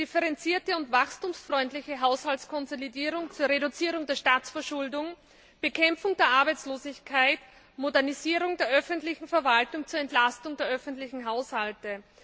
eine differenzierte und wachstumsfreundliche Haushaltskonsolidierung zur Reduzierung der Staatsverschuldung, die Bekämpfung der Arbeitslosigkeit und die Modernisierung der öffentlichen Verwaltung zur Entlastung der öffentlichen Haushalte.